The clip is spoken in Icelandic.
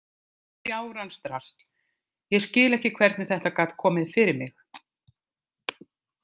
Fjárans drasl, ég skil ekki hvernig þetta gat komið fyrir mig.